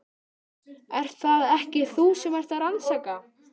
Ert það ekki þú sem ert að rannsaka.